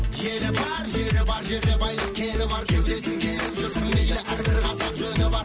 елі бар жері бар жерде байлық кені бар кеудесін керіп жүрсің әр бір қазақ жөні бар